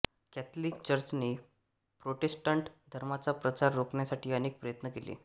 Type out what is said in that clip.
Catholic चर्चने Protestant धर्माचा प्रसार रोखण्यासाठी अनेक प्रयत्न केले